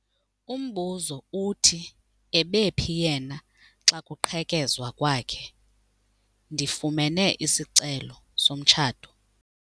Umbuzo uthi ebephi yena xa kuqhekezwa kwakhe? Ndifumene isicelo somtshato.